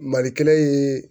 Mali kelen ye